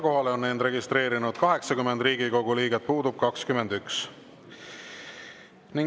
Kohalolijaks on end registreerinud 80 Riigikogu liiget, puudub 21.